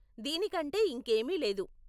దీనికంటే ఇంకేమీ లేదు.